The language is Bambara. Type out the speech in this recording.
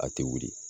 A tɛ wuli